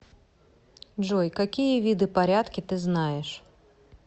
джой какие виды порядки ты знаешь